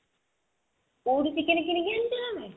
କଉଠୁ chicken କିଣିକି ଆଣୁଛ ତମେ?